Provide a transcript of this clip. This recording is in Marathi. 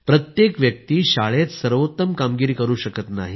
प्रत्येक व्यक्ती शाळेत सर्वोत्तम कामगिरी करु शकत नाही